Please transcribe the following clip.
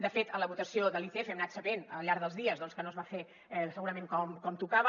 de fet en la votació de l’icf hem anat sabent al llarg dels dies doncs que no es va fer segurament com tocava